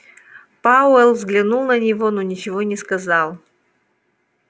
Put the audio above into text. пауэлл взглянул на него но ничего не сказал